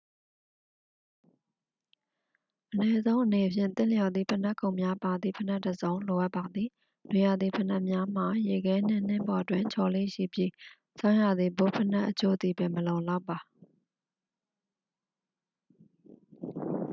အနည်းဆုံးအနေဖြင့် သင့်လျော်သည့် ဖိနပ်ခုံများပါသည့် ဖိနပ်တစ်စုံ လိုအပ်ပါသည် နွေရာသီဖိနပ်များမှာ ရေခဲနှင့် နှင်းပေါ်တွင် ချော်လေ့ရှိပြီး ဆောင်းရာသီ ဘွတ်ဖိနပ်အချို့သည်ပင် မလုံလောက်ပါ